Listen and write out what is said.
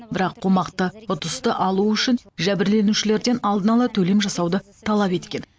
бірақ қомақты ұтысты алу үшін жәбірленушілерден алдынала төлем жасауды талап еткен